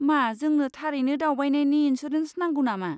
मा जोंनो थारैनो दावबायनायनि इन्सुरेन्स नांगौ नामा?